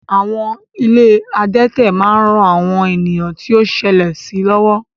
Àwọn ilé adẹ́tẹ̀ ń ran àwọn ènìyàn tó ṣẹlẹ̀ sí lọ́wọ́